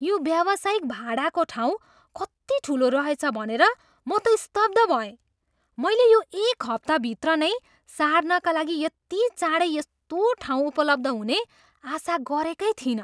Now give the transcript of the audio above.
यो व्यावसायिक भाडाको ठाउँ कति ठुलो रहेछ भनेर म त स्तब्ध भएँ। मैले यो एक हप्ताभित्र नै सार्नका लागि यति चाँडै यस्तो ठाउँ उपलब्ध हुने आशा गरेकै थिइनँ!